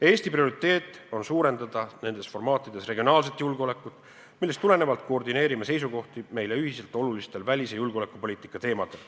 Eesti prioriteet on suurendada nendes formaatides regionaalset julgeolekut, millest tulenevalt koordineerime seisukohti meile ühiselt olulistel välis- ja julgeolekupoliitika teemadel.